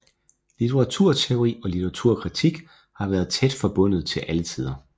Litteraturteori og litteraturkritik har vært tæt forbundet i alle tider